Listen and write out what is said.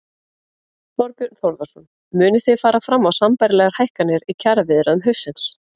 Þorbjörn Þórðarson: Munið þið fara fram á sambærilegar hækkanir í kjaraviðræðum haustsins?